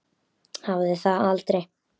Hafði það aldrei.